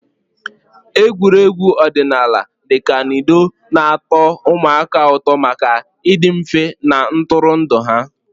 Egwuregwu ọdịnala dị ka ludo na-atọ ụmụaka ụtọ maka ịdị mfe na ntụrụndụ ha.